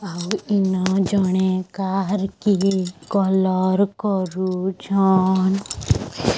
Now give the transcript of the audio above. ଆଉ ଇନ ଜଣେ କାର୍ କି କଲର୍ କରୁଛନ୍।